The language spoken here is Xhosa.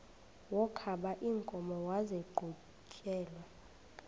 wokaba iinkomo maziqhutyelwe